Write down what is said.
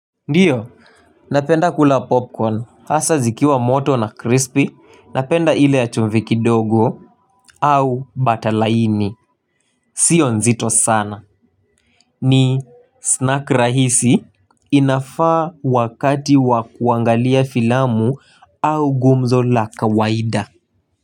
Ndiyo napenda kula popcorn hasa zikiwa moto na crispy napenda ile ya chumvi kidogo au batalaini sio nzito sana ni snack rahisi inafaa wakati wa kuangalia filamu au gumzo la kawaida.